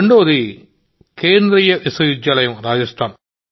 రెండవది Central University Rajasthan